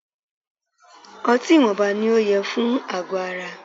Ọtí ìwọnba ní o yẹ fún àgọ ara.